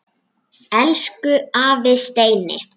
Elsku afi Steini.